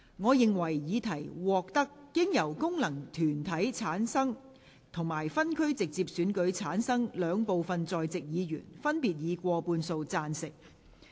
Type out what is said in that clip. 我認為議題獲得經由功能團體選舉產生及分區直接選舉產生的兩部分在席議員，分別以過半數贊成。